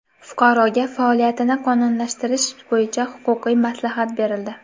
Fuqaroga faoliyatini qonuniylashtirish bo‘yicha huquqiy maslahat berildi.